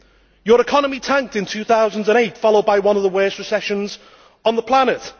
Your economy tanked in 2008, followed by one of the worst recessions on the planet.